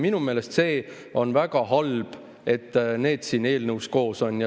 Minu meelest on see väga halb, et need siin eelnõus koos on.